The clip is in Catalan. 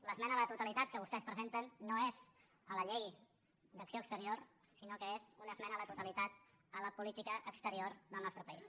l’esmena a la totalitat que vostès presenten no és a la llei d’acció exterior sinó que és una esmena a la totalitat a la política exterior del nostre país